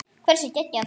Hversu geggjað?